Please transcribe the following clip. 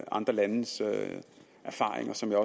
andre landes erfaringer som jeg